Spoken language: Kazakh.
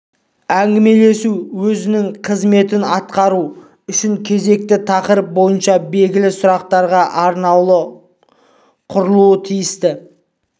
әңгімелесу өзінің қызметін атқару үшін кезекті тақырып бойынша белгілі сұраққа арналуы құрылуы тиісті